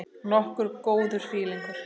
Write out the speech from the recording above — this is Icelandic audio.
Nokkuð góður fílingur.